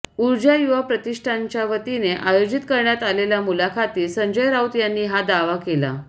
ऊर्जा युवा प्रतिष्ठानच्यावतीने आयोजित करण्यात आलेल्या मुलाखतीत संजय राऊत यांनी हा दावा केला